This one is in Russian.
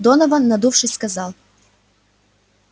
донован надувшись сказал